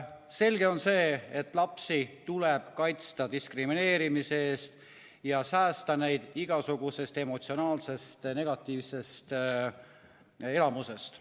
Selge on see, et lapsi tuleb kaitsta diskrimineerimise eest ja säästa neid igasugusest emotsionaalsest negatiivsest elamusest.